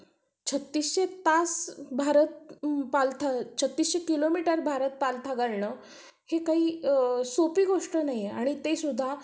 छत्तीसशे तास भारत छत्तीसशे किलोमीटर भारत पालथं घालणं हे काही सोपी गोष्ट नाहीये आणि ते सुद्धा